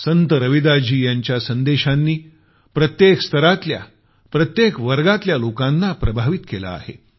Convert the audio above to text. संत रविदासजी यांच्या संदेशांनी प्रत्येक स्तरातल्या प्रत्येक वर्गातल्या लोकांना प्रभावित केलं आहे